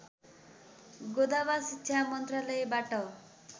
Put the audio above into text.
गोदवा शिक्षा मन्त्रालयबाट